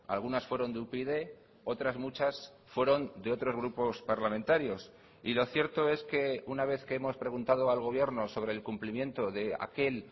algunas fueron de upyd otras muchas fueron de otros grupos parlamentarios y lo cierto es que una vez que hemos preguntado al gobierno sobre el cumplimiento de aquel